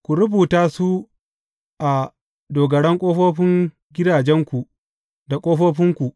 Ku rubuta su a dogaran ƙofofin gidajenku, da ƙofofinku.